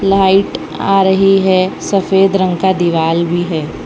Light आ रही है सफेद रंग का दिवाल भी है।